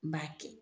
N b'a kɛ